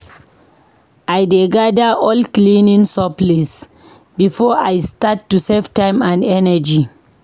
I dey gather all cleaning supplies before I start to save time and energy.